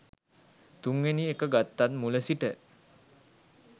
තුන්වෙනි එක ගත්තත් මුල සිට